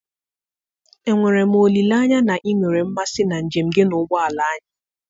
enwere m olileanya na ị nwere mmasị na njem gị na ụgbọ ala anyị?